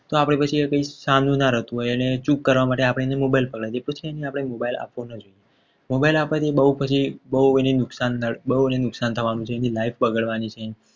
તો પછી આપણે એને સારું ના રહેતું હોય અને ચૂપ કરવા માટે એને mobile પર લાવીએ. આપણે mobile આપવો ન જોઈએ. mobile આપવાથી બહુ એને નુકસાન નુકસાન થવાનું છે. એની લાઈફ બગડવાની છે.